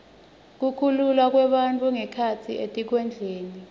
kukhululwa kwebafundzi ngekhatsi etikudlweni